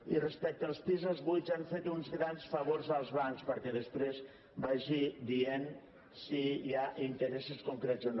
i respecte als pisos buits han fet uns grans favors als bancs perquè després vagi dient si hi ha interessos concrets o no